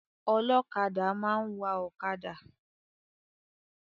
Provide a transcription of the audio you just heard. Ọlọ́kadà máa ń wà ọ̀kadà.